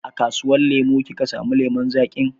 A kasuwar lemu ka samu lemun zaƙin?